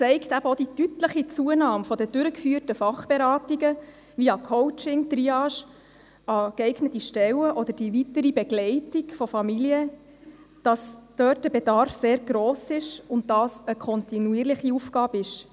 Auch die deutliche Zunahme der durchgeführten Fachberatungen via Coaching, Triage an geeigneten Stellen oder die weitere Begleitung von Familien zeigt, dass der Bedarf dort sehr gross ist und dass es im Kanton Bern eine kontinuierliche Aufgabe ist.